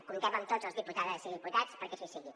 comptem amb tots els diputades i diputats perquè així sigui